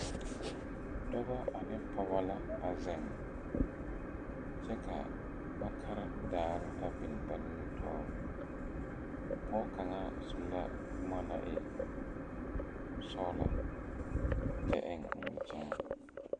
Dɔbɔ ane pɔɔbɔ la a zeŋ kyɛ ka ba kare daare biŋ ba nimitoore bon kaŋa su la bomma na e sɔglɔ kyɛ eŋ nimikyaane.